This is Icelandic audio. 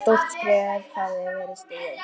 Stórt skref hafði verið stigið.